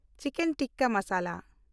chicken tikka masala